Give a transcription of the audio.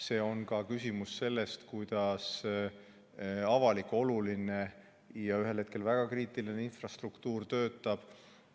See on ka küsimus sellest, kuidas avalik, oluline ja ühel hetkel väga kriitiline infrastruktuur töötab.